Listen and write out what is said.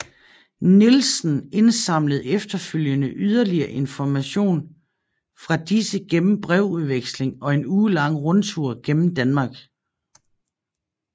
Nielsen indsamlede efterfølgende yderligere information fra disse gennem brevvekslinger og en ugelang rundtur gennem Danmark